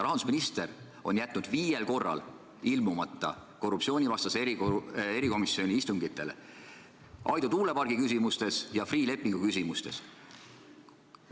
Rahandusminister on jätnud viiel korral ilmumata korruptsioonivastase erikomisjoni istungitele, Aidu tuulepargi küsimustes ja Freeh' lepingu küsimustes.